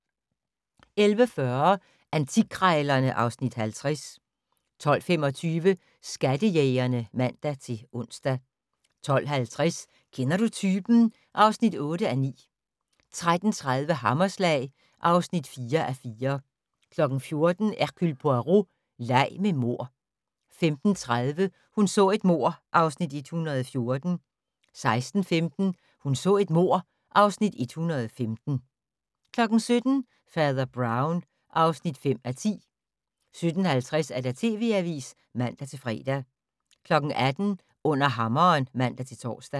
11:40: Antikkrejlerne (Afs. 50) 12:25: Skattejægerne (man-ons) 12:50: Kender du typen? (8:9) 13:30: Hammerslag (4:4) 14:00: Hercule Poirot: Leg med mord 15:30: Hun så et mord (Afs. 114) 16:15: Hun så et mord (Afs. 115) 17:00: Fader Brown (5:10) 17:50: TV Avisen (man-fre) 18:00: Under hammeren (man-tor)